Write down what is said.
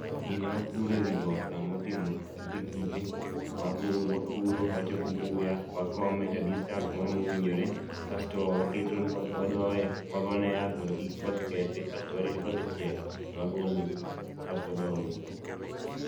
Gini wapure ewi got kamotimo kite kite, wapuro, wachoko buya, wakome at a distance moro mowinjore, kasto waketo, wadoye, wagone yath mondo kik koth kethe kasto warito ka osechiek to wagole asto wadhi wause